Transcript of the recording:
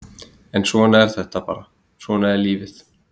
En svona er þetta bara, svona er lífið!